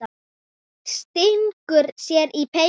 Svenni stingur sér í peysu.